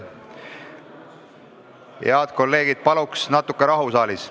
Head kolleegid, palun saalis rahu!